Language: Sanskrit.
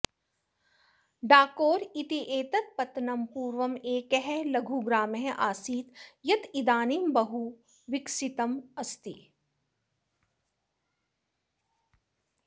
डाकोर इत्येतत् पत्तनं पूर्वम् एकः लघुग्रामः आसीत् यदिदानीं बहु विकसितम् अस्ति